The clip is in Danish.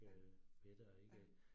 Ja, ja